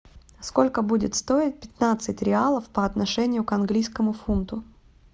сколько будет стоить пятнадцать реалов по отношению к английскому фунту